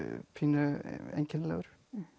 pínu einkennilegur